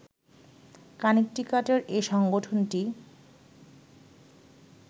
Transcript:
কানেকটিকাটের এ সংগঠনটি